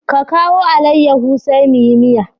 Ka kawo alaiyaho sai muyi miya.